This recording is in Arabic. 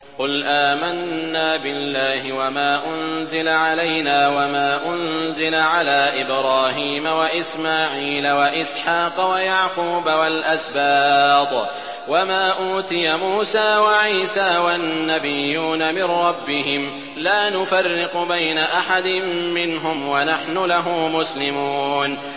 قُلْ آمَنَّا بِاللَّهِ وَمَا أُنزِلَ عَلَيْنَا وَمَا أُنزِلَ عَلَىٰ إِبْرَاهِيمَ وَإِسْمَاعِيلَ وَإِسْحَاقَ وَيَعْقُوبَ وَالْأَسْبَاطِ وَمَا أُوتِيَ مُوسَىٰ وَعِيسَىٰ وَالنَّبِيُّونَ مِن رَّبِّهِمْ لَا نُفَرِّقُ بَيْنَ أَحَدٍ مِّنْهُمْ وَنَحْنُ لَهُ مُسْلِمُونَ